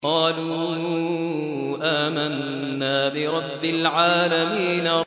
قَالُوا آمَنَّا بِرَبِّ الْعَالَمِينَ